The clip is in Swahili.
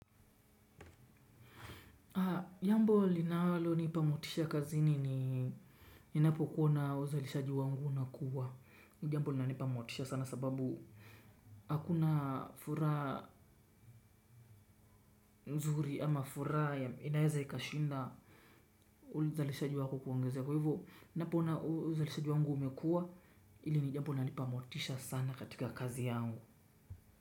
Jambo linalonipa motisha kazini ni ninapokuona uzalishaji wangu unakua. Ni jambo linaipa motisha sana sababu hakuna furaha mzuri ama furaha inaweza ikashinda uzalishaji wako kuongezeka kwa hivyo ninapoona uzalishaji wangu umekua ili ni jambo inanipa motisha sana kwa kazi yangu.